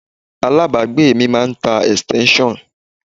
Alábàágbé mi máà ń tá extension.